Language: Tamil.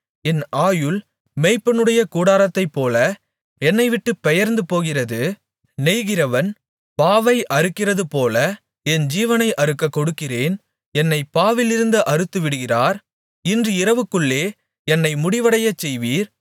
என் ஆயுள் மேய்ப்பனுடைய கூடாரத்தைப்போல என்னைவிட்டுப் பெயர்ந்து போகிறது நெய்கிறவன் பாவை அறுக்கிறதுபோல என் ஜீவனை அறுக்கக் கொடுக்கிறேன் என்னைப் பாவிலிருந்து அறுத்துவிடுகிறார் இன்று இரவுக்குள்ளே என்னை முடிவடையச்செய்வீர்